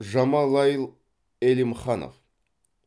жамалайл элимханов